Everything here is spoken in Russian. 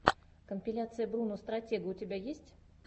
компиляция бруно стратега у тебя есть